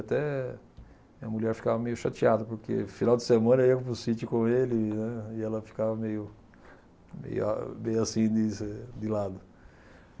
Até minha mulher ficava meio chateada, porque final de semana eu ia para o sítio com ele, ã, e ela ficava meio meio a meio assim de lado.